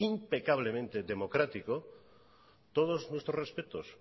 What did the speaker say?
impecablemente democrático todos nuestros respetos